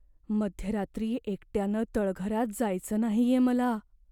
मध्यरात्री एकट्यानं तळघरात जायचं नाहीये मला.